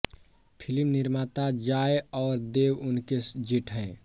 film निर्माता जॉय और देब उनके जेठ हैं